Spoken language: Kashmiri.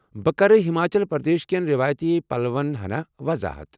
بہٕ كرٕ ہماچل پردیش کٮ۪ن رٮ۪وٲیتی پلون ہنا وضاحت ۔